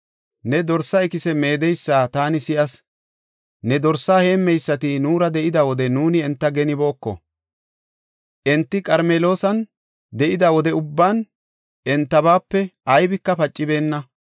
Ne dorsa ikise meedeysa taani si7as; ne dorsaa heemmeysati nuura de7ida wode nuuni enta genibooko; enti Qarmeloosan de7ida wode ubban entabaape aybika pacibeenna.